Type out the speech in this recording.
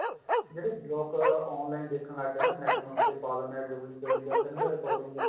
ਜਿਹੜੇ ਲੋਕ online ਦੇਖਣ ਲੱਗ ਗਏ net nut ਤੇ ਪਾ ਦਿੰਨੇ ਆ duplicate ਯਾ ਕਈ ਵਾਰ recording